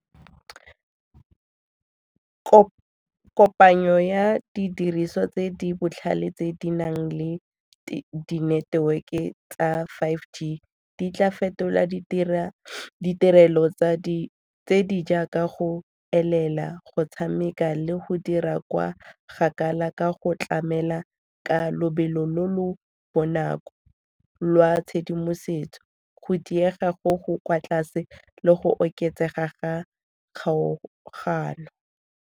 Kopanyo ya didiriswa tse di botlhale tse di nang le dineteweke tsa five G di tla fetola ditirelo tse di jaaka go elela go tshameka le go dira kwa kgakala ka go tlamela ka lobelo lo lo bonako lwa tshedimosetso, go diega go go kwa tlase le go oketsega ga kgaogano.